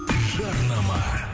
жарнама